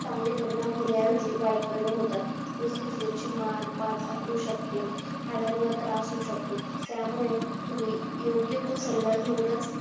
चांगले परिणाम होण्या एयवजी वाईट परिणाम होतात जसे कि त्याची मन पाठ अकखडू शकते हदनवर त्रास होऊ शकतो त्यामुळे तुम्ही योग्य तो सल्ला घेऊनच